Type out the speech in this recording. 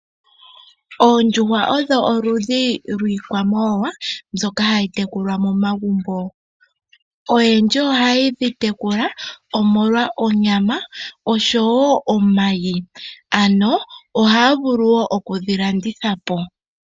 Oondjuhwa odho oludhi lwiikwamawawa mbyoka hayi tekulwa momagumbo. Oyendji ohaye dhi tekula omolwa onyama osho wo omayi, ano ohaya vulu wo okudhi landitha po.